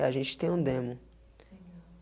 a gente tem um demo. Legal.